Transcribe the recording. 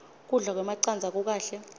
kudla kwemacandza kukahle